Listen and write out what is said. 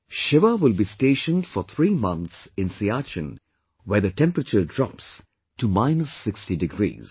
Shiva will be stationed for three months in Siachen where the temperature drops to minus sixty 60 degrees